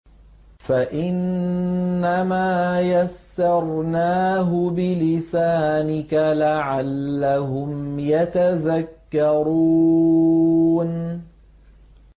فَإِنَّمَا يَسَّرْنَاهُ بِلِسَانِكَ لَعَلَّهُمْ يَتَذَكَّرُونَ